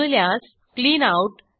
जुळल्यास clean out